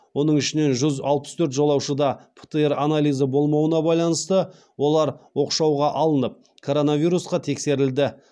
оның ішінде жүз алпыс төрт жолаушыда птр анализі болмауына байланысты олар оқшауға алынып коронавирусқа тексерілді